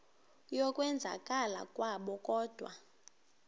yokwenzakala kwabo kodwa